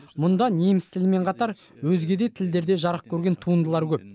мұнда неміс тілімен қатар өзге де тілдерде жарық көрген туындылар көп